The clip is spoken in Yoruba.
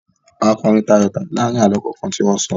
A kọrin tayọ̀tayọ̀ láàárin àlọ́ kọ̀ọ̀kan tí wọ́n sọ.